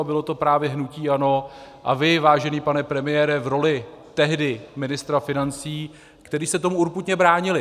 A bylo to právě hnutí ANO a vy, vážený pane premiére, v roli tehdy ministra financí, kteří se tomu urputně bránili.